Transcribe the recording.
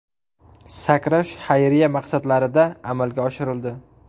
Sakrash xayriya maqsadlarida amalga oshirildi.